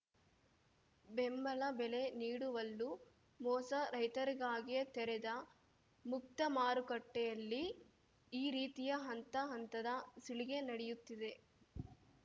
ಬೆಂಬಲ ಬೆಲೆ ನೀಡುವಲ್ಲೂ ಮೋಸ ರೈತರಿಗಾಗಿಯೇ ತೆರೆದ ಮುಕ್ತ ಮಾರುಕಟ್ಟೆಯಲ್ಲಿ ಈ ರೀತಿಯ ಹಂತ ಹಂತದ ಸುಲಿಗೆ ನಡೆಯುತ್ತಿದೆ